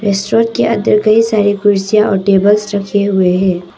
Store के अंदर कई सारे कुर्सियां और टेबल्स रखें हुए हैं।